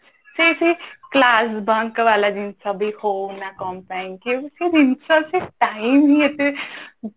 ସେଇ ସେଇ class bunk ବାଲା ଜିନିଷ ବି ହଉ ନା କଣ ପାଇଁ କେମିତି ଜିନିଷ ସେ time ହିଁ ଏତେ